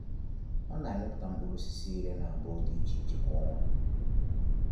Ọ na-amịpụta mkpụrụ osisi iri na abụọ dị iche iche kwa ọnwa.